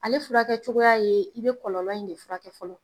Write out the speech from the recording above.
Ale furakɛ cogoya ye i bɛ kɔlɔlɔ in de furakɛ fɔlɔ